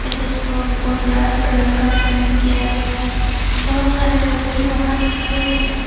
इस स्कूल को लाल कलर का पेंट किया गया है बहोत सारे व्यक्ति बाहर खड़े हैं।